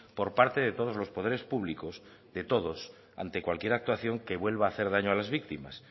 por parte de todos los poderes públicos de todos ante cualquier actuación que vuelva hacer daño a las víctimas